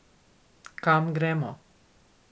Kam gremo?